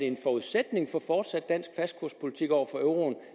en forudsætning for fortsat dansk fastkurspolitik over for euroen